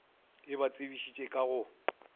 e ba tsebišitše ka go